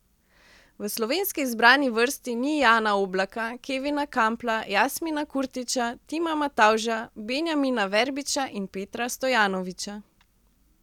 V slovenski izbrani vrsti ni Jana Oblaka, Kevina Kampla, Jasmina Kurtića, Tima Matavža, Benjamina Verbiča in Petra Stojanovića.